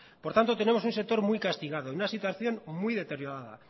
por tanto tenemos un sector muy castigado y una situación muy deteriorada